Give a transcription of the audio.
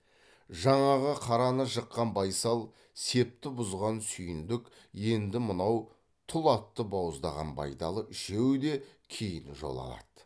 жаңағы қараны жыққан байсал септі бұзған сүйіндік енді мынау тұл атты бауыздаған байдалы үшеуі де кейін жол алады